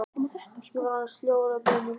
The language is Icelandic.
Ég var orðin sljó og hrædd við það sem beið mín.